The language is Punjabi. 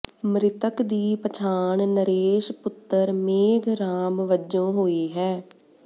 ਮ੍ਰਿਤਕ ਦੀ ਪਛਾਣ ਨਰੇਸ਼ ਪੁੱਤਰ ਮੇਘ ਰਾਮ ਵਜੋਂ ਹੋਈ ਹੈ